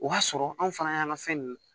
O b'a sɔrɔ anw fana y'an ka fɛn ninnu